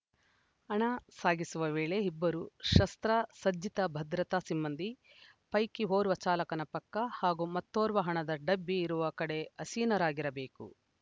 ಹಣ ಸಾಗಿಸುವ ವೇಳೆ ಇಬ್ಬರು ಶಸ್ತ್ರಸಜ್ಜಿತ ಭದ್ರತಾ ಸಿಬ್ಬಂದಿ ಪೈಕಿ ಓರ್ವ ಚಾಲಕನ ಪಕ್ಕ ಹಾಗೂ ಮತ್ತೋರ್ವ ಹಣದ ಡಬ್ಬಿ ಇರುವ ಕಡೆ ಆಸೀನರಾಗಿರಬೇಕು